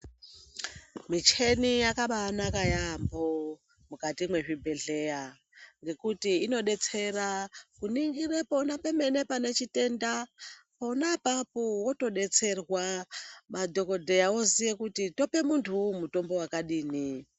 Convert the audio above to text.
Micheni yakabaanaka yaampho mukati mwezvibhedhleya ngekuti inodetsere kuningire kuona pemene pane chitenda pona apapo wotodwtserwa madhokodheya oziye kuti tope munthu wuu mitombo yakadini.